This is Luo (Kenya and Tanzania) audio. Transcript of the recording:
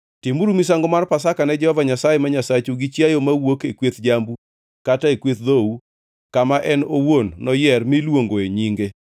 Timuru misango mar Pasaka ne Jehova Nyasaye ma Nyasachu gi chiayo mawuok e kweth jambu kata e kweth dhou kama en owuon noyier miluongo e nyinge.